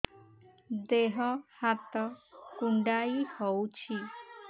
ଦେହ ହାତ କୁଣ୍ଡାଇ ହଉଛି